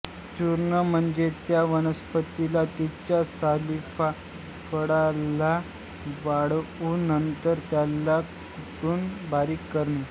चूर्ण म्हणजे त्या वनस्पतीला तिच्या सालीलाफळाला वाळवून नंतर त्याला कुटून बारीक करणे